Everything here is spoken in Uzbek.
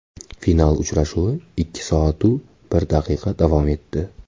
Final uchrashuvi ikki soat-u bir daqiqa davom etdi.